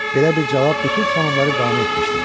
Belə bir cavab bütün xanımları qane etmişdi.